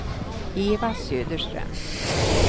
Eva Söderström